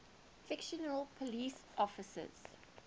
fictional police officers